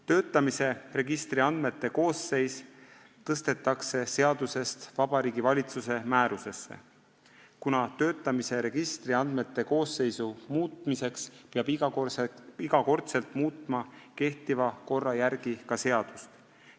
Töötamise registri andmete koosseis tõstetakse seadusest Vabariigi Valitsuse määrusesse, kuna kehtiva korra järgi peab töötamise registri andmete koosseisu muutmiseks iga kord muutma ka seadust.